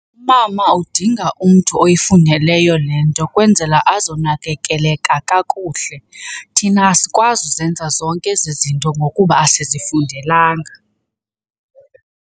Umama udinga umntu oyifundeleyo le nto kwenzela azonakekeleka kakuhle. Thina asikwazi uzenza zonke ezi zinto ngokuba asizifundelanga.